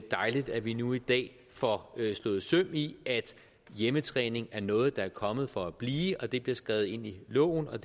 dejligt at vi nu i dag får slået søm i at hjemmetræning er noget der er kommet for at blive og at det bliver skrevet ind i loven og